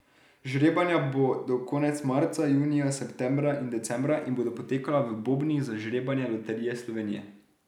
Žrebanja bodo konec marca, junija, septembra in decembra in bodo potekala v bobnih za žrebanje Loterije Slovenije.